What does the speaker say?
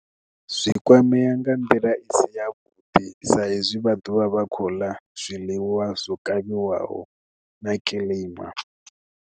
Zwi kwamea nga nḓila i si ya vhuḓi sa hezwi vha ḓovha vha kho ḽa zwiḽiwa zwo kavhiwaho na kiḽima.